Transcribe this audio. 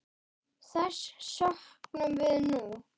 Þess söknum við nú.